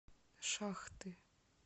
шахты